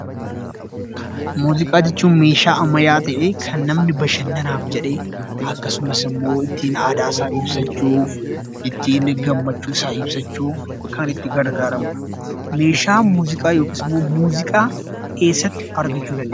Muuziqaa jechuun meeshaalee ammayyaa ta'ee kan namni bashannanaaf jedhee akkasumas immoo ittiin aadaa isaa fi Gammachuu isaa ibsachuuf kan itti gargaarramudha. Muuziqaa yookiin meeshaa muuziqaa eessatti argachuu dandeenya?